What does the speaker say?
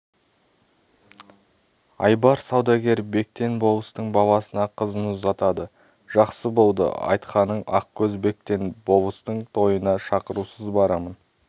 айбар саудагер бектен болыстың баласына қызын ұзатады жақсы болды айтқаның ақкөз бектен болыстың тойына шақырусыз барамын